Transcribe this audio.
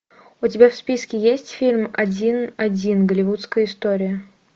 у тебя в списке есть фильм один один голливудская история